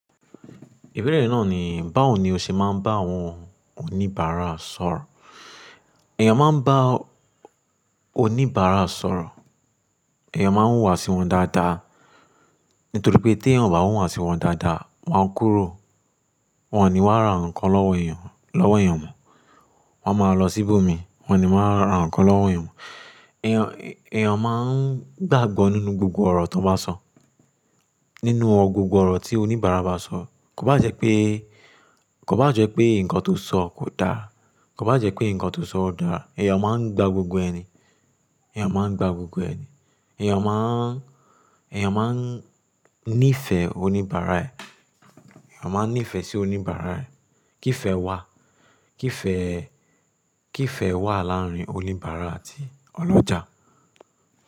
Ìbéèrè náà ni báwo ni o ṣe máa ń bá àwọn oníbàárà sọ̀rọ̀? Ẹ̀yàn máa ń bá oníbàárà sọ̀rọ̀, ẹ̀yàn máa ń wùwà sí wọn dáadáa, nítorí pé tí wọ́n ò bá wùwà sí wọn dáadáa, wọ́n á kúrò. Wọn ni wàá ra ǹkan lọ́wọ́ èyàn, lọ́wọ́ èyàn mon, wọ́n máa lọ sí ibo mi, wọ́n ni wọ́n á ra ǹkan lọ́wọ́ èyàn mon. Ẹ̀yàn, ẹ̀yàn máa ń gbàgbọ́ nínú gbogbo ọ̀rọ̀ tó bá sọ, nínú gbogbọ̀ ọ̀rọ̀ tí oníbàárà bá sọ. Kò bá jẹ́ pé, kò bá jẹ́ pé ǹkan tó sọ kò dáa, kò bá jẹ́ pé ǹkan tó sọ dáa, ẹ̀yàn máa ń gba gbogbo ẹni, ẹ̀yàn máa ń gba gbogbo ẹni. Ẹ̀yàn máa ń, ẹ̀yàn máa ń nífẹ̀ẹ́ oníbàárà ẹ̀, ẹ̀yàn máa ń nífẹ̀ẹ́ sí oníbàárà ẹ̀. Kí fẹ wà, kí fẹ, kí fẹ wà láàárín oníbàárà àti ọlọ́jà?